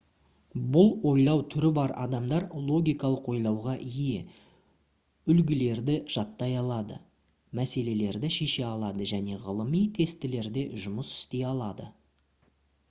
бұл ойлау түрі бар адамдар логикалық ойлауға ие үлгілерді жаттай алады мәселелерді шеше алады және ғылыми тестілерде жұмыс істей алады